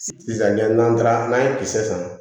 Sisan ɲɛ n'an taara n'an ye kisɛ san